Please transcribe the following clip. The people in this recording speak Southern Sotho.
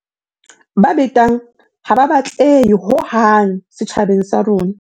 Ba betang ha ba batlehe hohang setjhabeng sa rona.